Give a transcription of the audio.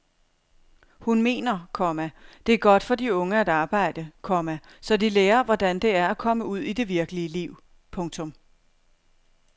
Hun mener, komma det er godt for de unge at arbejde, komma så de lærer hvordan det er at komme ud i det virkelige liv. punktum